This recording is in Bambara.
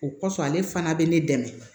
O kɔsɔn ale fana bɛ ne dɛmɛ